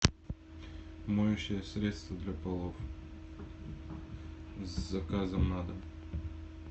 моющее средство для полов с заказом на дом